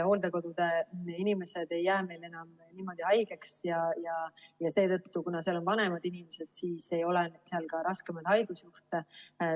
Hooldekodude inimesed ei jää meil enam niimoodi haigeks ja seetõttu, kuigi seal on vanemad inimesed, ei ole seal ka raskemaid haigusjuhte.